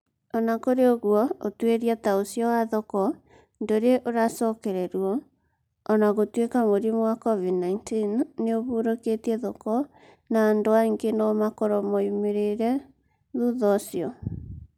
O na kũrĩ ũguo, ũtuĩria ta ũcio wa thoko ndũrĩ ũcokererũo, o na gũtuĩka mũrimũ wa COVID-19 nĩ ũhũrũkĩtie thoko na andũ angĩ no makorũo moimĩrire thutha ũcio.